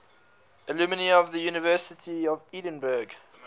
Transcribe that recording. alumni of the university of edinburgh